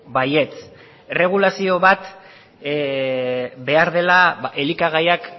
baietz erregulazio bat behar dela elikagaiak